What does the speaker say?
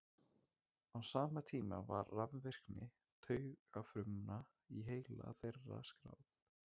Á sama tíma var rafvirkni taugafruma í heila þeirra skráð.